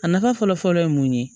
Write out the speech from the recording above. A nafa fɔlɔ fɔlɔ ye mun ye